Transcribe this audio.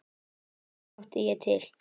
En hér mátti ég til.